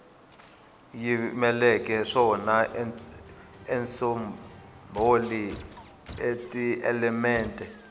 yi yimeleke swona tisombholi tielemente